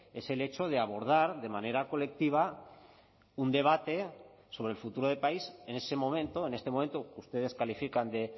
es el hecho de abordar de manera colectiva un debate sobre el futuro de país en ese momento en este momento que ustedes califican de